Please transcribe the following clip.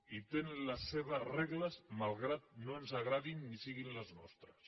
i tenen les seves regles malgrat que no ens agradin ni siguin les nostres